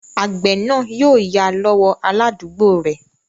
Àgbẹ̀ náà yóò yá lọ́wọ́ aládúgbò rẹ̀